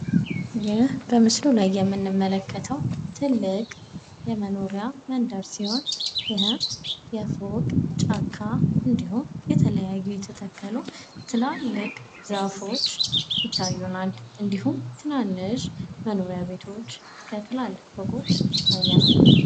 ይህ በምስሉ ላይ የምንመለከተው ትልቅ የመኖሪያ መንደር ሲሆን ይህም የፎቅ ጫካ እንዲሁም የተለያዩ የተተከሉ ትላልቅ ዛፎች ይታዩናል እንዲሁም ትንንሽ መኖሪያ ቤቶች እስከ ትላልቅ ፎቆች ይታየኛል።